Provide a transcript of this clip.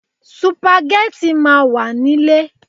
Sùpàgẹ́tì máa wà nile